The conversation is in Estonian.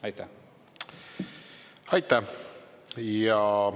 Aitäh!